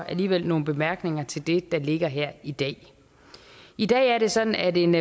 alligevel nogle bemærkninger til det der ligger her i dag i dag er det sådan at en